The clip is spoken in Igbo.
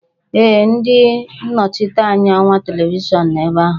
Ee, ndị nnọchiteanya ọwa televishọn nọ ebe ahụ